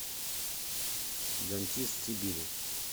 дантист сибири